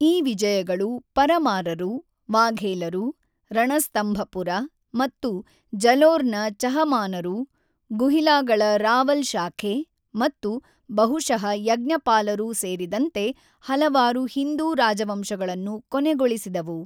ಈ ವಿಜಯಗಳು ಪರಮಾರರು, ವಾಘೇಲರು, ರಣಸ್ತಂಭಪುರ ಮತ್ತು ಜಲೋರ್‌ನ ಚಹಮಾನರು, ಗುಹಿಲಾಗಳ ರಾವಲ್ ಶಾಖೆ ಮತ್ತು ಬಹುಶಃ ಯಜ್ಞಪಾಲರು ಸೇರಿದಂತೆ ಹಲವಾರು ಹಿಂದೂ ರಾಜವಂಶಗಳನ್ನು ಕೊನೆಗೊಳಿಸಿದವು.